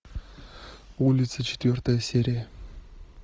улицы четвертая серия